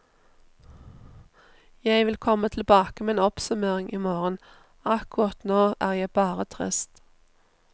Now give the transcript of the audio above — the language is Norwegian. Jeg vil komme tilbake med en oppsummering imorgen, akkurat nå er jeg bare trist.